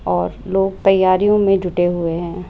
और लोग तैयारियों में जुटे हुए हैं।